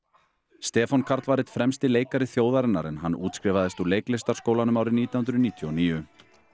Stefán Karl var einn fremsti leikari þjóðarinnar en hann útskrifaðist úr leiklistarskólanum árið nítján hundruð níutíu og níu